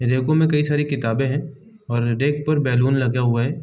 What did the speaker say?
रैको में कई सारी किताबें हैं और रैक पर बैलून लगा हुआ है।